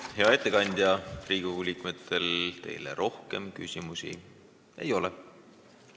Hea ettekandja, Riigikogu liikmetel teile rohkem küsimusi ei ole.